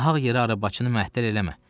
Nahaq yerə arabacını məhdər eləmə.